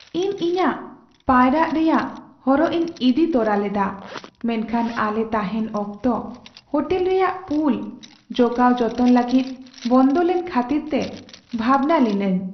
ᱤᱧ ᱤᱧᱟᱹᱜ ᱯᱟᱭᱨᱟᱜ ᱨᱮᱟᱭᱜ ᱦᱚᱨᱚᱜ ᱤᱧ ᱤᱫᱤ ᱛᱚᱨᱟ ᱞᱮᱫᱟ ᱢᱮᱱᱠᱷᱟᱱ ᱟᱞᱮ ᱛᱟᱦᱮᱱ ᱚᱠᱛᱚ ᱦᱳᱴᱮᱞ ᱨᱮᱭᱟᱜ ᱯᱩᱞ ᱡᱚᱜᱟᱣ ᱡᱚᱛᱚᱱ ᱞᱟᱹᱜᱤᱫ ᱵᱚᱱᱫᱚ ᱞᱮᱱ ᱠᱷᱟᱹᱛᱤᱨᱛᱮ ᱵᱷᱟᱵᱽᱱᱟ ᱞᱤᱱᱟᱹᱧ ᱾